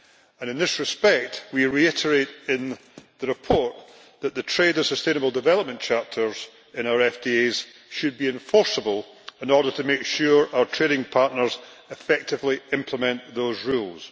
And in this respect we reiterate in the report that the trade and sustainable development chapters in our FTAs should be enforceable in order to make sure our trading partners effectively implement those rules.